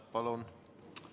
Palun!